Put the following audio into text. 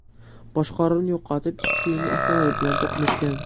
boshqaruvni yo‘qotib, ikkita yengil avtomobil bilan to‘qnashgan.